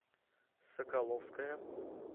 соколовская